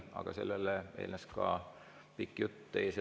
Aga sellele eelnes ja järgnes pikk jutt.